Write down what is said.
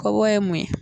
Kɔbɔ ye mun ye